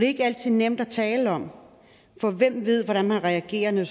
ikke altid nemt at tale om for hvem ved hvordan man reagerer når